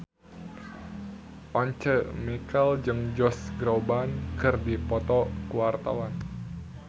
Once Mekel jeung Josh Groban keur dipoto ku wartawan